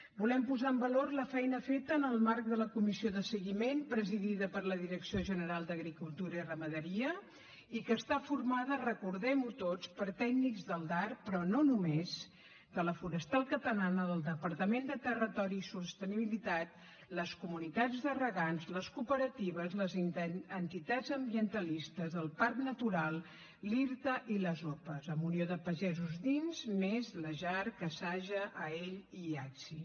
volem posar en valor la feina feta en el marc de la comissió de seguiment presidida per la direcció general d’agricultura i ramaderia i que està formada recordem ho tots per tècnics del darp però no només de la forestal catalana del departament de territori i sostenibilitat les comunitats de regants les cooperatives les entitats ambientalistes el parc natural l’irta i les opa amb unió de pagesos dins més la jarc asaja aeall i iacsi